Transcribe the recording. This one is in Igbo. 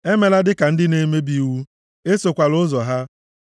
Emela dịka ndị na-emebi iwu. Esokwala ụzọ ha.